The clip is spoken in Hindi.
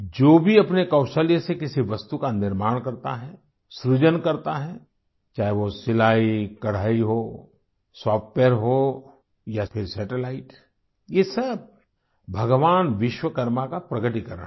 जो भी अपने कौशल्य से किसी वस्तु का निर्माण करता हैं सृजन करता है चाहे वो सिलाईकढ़ाई हो सॉफ्टवेयर हो या फिर सैटेलाइट ये सब भगवान विश्वकर्मा का प्रगटीकरण है